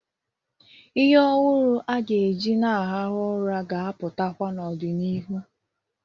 Ihe ọhụrụ a ga-eji na-arahụ ụra ga-apụtakwa n'ọdị n'iru.